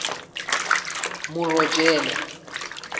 morojele